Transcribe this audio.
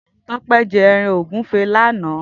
Tope jè èràn ógùfé làná